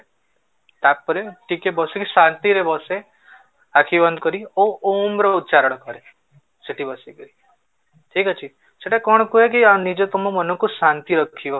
ତାପରେ ଟିକେ ବସିକି ଶାନ୍ତି ରେ ବସେ ଆଖି ବନ୍ଦ କରିକି ଓ ଓଁ ର ଉଚ୍ଚାରଣ କରେ ସେଠି ବସିକରି ଠିକ ଅଛି ସେଟା କଣ କୁହେ କି ଆଉ ନିଜେ ତମ ମନ କୁ ଶାନ୍ତି ଥିବ